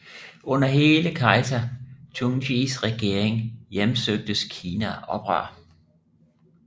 Under hele kejser Tungtsjis regering hjemsøgtes Kina af oprør